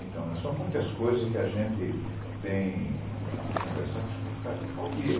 Então, são muitas coisas que a gente tem a conversar que se eu for ficar, eu vou ficar o dia.